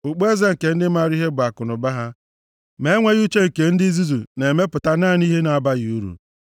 Okpueze nke ndị maara ihe bụ akụnụba ha, ma enweghị uche nke ndị nzuzu na-emepụta naanị ihe na-abaghị uru.